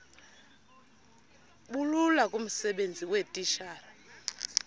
bulula kumsebenzi weetitshala